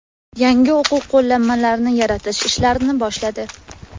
yangi o‘quv qo‘llanmalarini yaratish ishlarini boshladi.